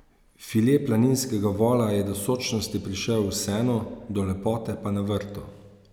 File planinskega vola je do sočnosti prišel v senu, do lepote pa na vrtu.